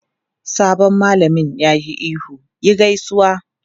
Sabon malamin ya yi ihu "yi gaisuwa!"